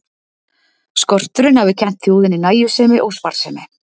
Skorturinn hafi kennt þjóðinni nægjusemi og sparsemi.